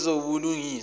wezobulungiswa